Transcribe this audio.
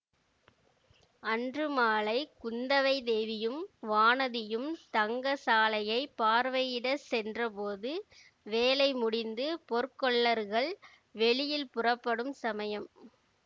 அன்று மாலை குந்தவை தேவியும் வானதியும் தங்க சாலையைப் பார்வையிடச் சென்றபோது வேலை முடிந்து பொற்கொல்லர்கள் வெளியில் புறப்படும் சமயம்